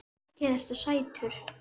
Mikið ertu sætur.